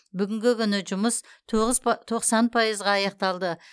бүгінгі күні жұмыс тоғыз тоқсан пайызға аяқталды